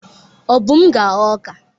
Obum ga-aghọ ọka.